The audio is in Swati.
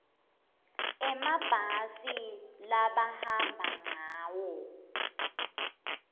emabhasi labahamba ngawo